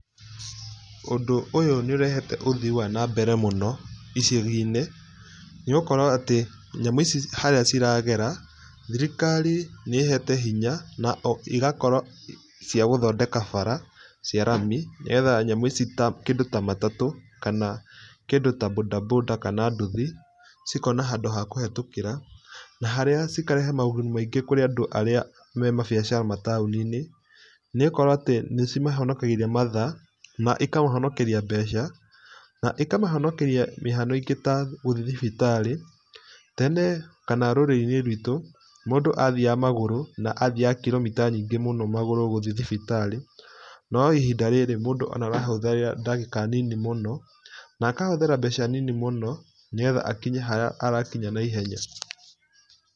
Ũndũ ũyũ nĩ ũrehete ũthii wa nambere mũno icagi-inĩ. Nĩ ũgũkora atĩ nyamũ ici harĩa ciragera, thirikari nĩ ĩĩhete hinya na igakorwo cia gũthondeka bara cia rami, nĩgetha nyamũ ici ta kĩndũ ta matatũ, kana kĩndũ ta boda boda kana nduthi, cikona handũ ha kũhĩtũkĩra, na harĩa cikarehe moguni maingĩ kũrĩ andũ arĩa me mabiacara mataũni-inĩ. Nĩ ũgũkora atĩ nĩ cimahonokagĩria mathaa na ikamahonokeria mbeca, na ikamahonokeria mĩhang'o ĩngĩ ta gũthiĩ thibitarĩ. Tene kana rũrĩrĩ-inĩ rwitũ, mũndũ athiaga magũrũ na athiaga kiromita nyingĩ mũno magũrũ gũthiĩ thibitarĩ, no ihinda rĩrĩ mũndũ ona arahũthĩra ndagĩka nini mũno, na akahũthĩra mbeca nini mũno, nĩgetha akinye harĩa arakinya naihenya.